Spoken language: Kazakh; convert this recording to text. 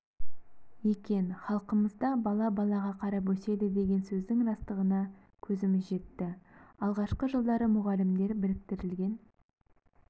екен халқымызда бала балаға қарап өседі деген сөздің растығына көзіміз жетті алғашқы жылдары мұғалімдер біріктірілген